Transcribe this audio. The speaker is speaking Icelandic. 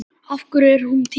Af hverju er hún týnd?